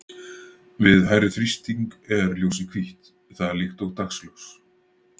Við hærri þrýsting er ljósið hvítt, það er líkt og dagsljós.